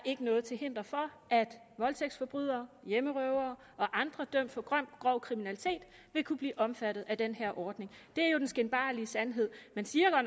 noget til hinder for at voldtægtsforbrydere hjemmerøvere og andre dømt for grov kriminalitet vil kunne blive omfattet af den her ordning det er jo den skinbarlige sandhed man siger